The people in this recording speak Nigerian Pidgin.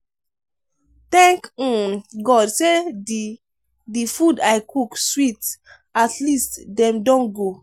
thank um god say the the food i cook sweet at least dem don go.